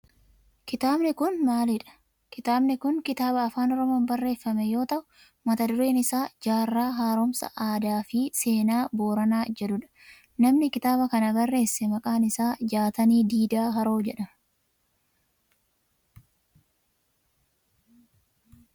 Kitaabni kun maalidha? Kitaabni kun kitaaba afaan oromoon barreeffame yoo ta'u mata dureen isaa jaarraa haaromsa aadaa fi seenaa Booranaa jedhudha. Namni kitaaba kana barreesse maqaan isaa Jaatanii Diidaa Haroo jedhama.